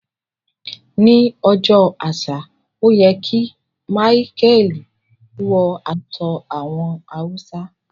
Ni ọjọ́ àṣà o yẹ ki Micheal wọ aṣọ àwọn Hausa.